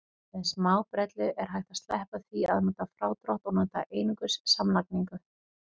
Með smábrellu er hægt að sleppa því að nota frádrátt og nota einungis samlagningu.